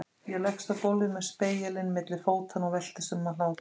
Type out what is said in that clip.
Ég leggst á gólfið með spegilinn milli fótanna og veltist um af hlátri.